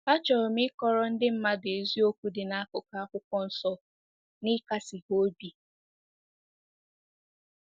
"Achọrọ m ịkọrọ ndị mmadụ eziokwu dị n'akụkụ Akwụkwọ Nsọ na ịkasi ha obi."